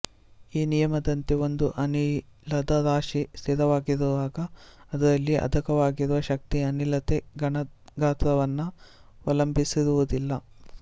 ಈ ನಿಯಮದಂತೆ ಒಂದು ಅನಿಲದ ರಾಶಿ ಸ್ಥಿರವಾಗಿರುವಾಗ ಅದರಲ್ಲಿ ಅಡಕವಾಗಿರುವ ಶಕ್ತಿ ಅನಿಲದ ಘನಗಾತ್ರವನ್ನವಲಂಬಿಸಿರುವುದಿಲ್ಲ